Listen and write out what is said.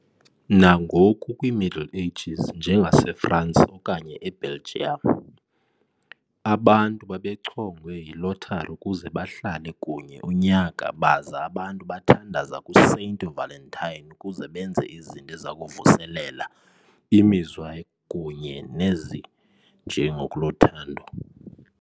Nangoku kwi-Middle Ages, njengaseFransi okanye e-Belgium, abantu babechongwe yi-lottery ukuze bahlale kunye unyaka baza abantu bathandaza kuSaint Valentine ukuze benze izinto eziyakuvuselela imizwa kunye nezijekulo zothando.